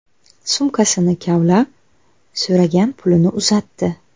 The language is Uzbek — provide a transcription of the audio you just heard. Sumkasini kavlab, so‘ragan pulini uzatdi.